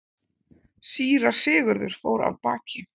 Síra Sigurður fór af baki.